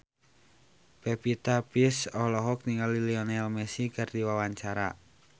Pevita Pearce olohok ningali Lionel Messi keur diwawancara